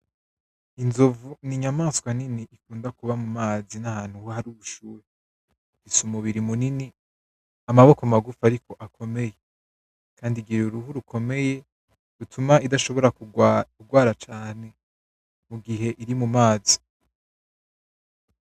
Inzovu n'inyamaswa nini ikunda kuba mumazi n'ahantu hari ubushuhe. Ifise umubiri munini amaboko magufi ariko akomeye kandi igira uruhu rukomeye rutuma idashobora kugwara cane mugihe iri mumazi.